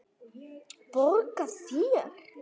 Borga þér?